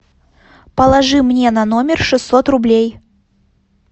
положи мне на номер шестьсот рублей